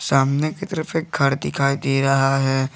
सामने की तरफ से घर दिखाई दे रहा है।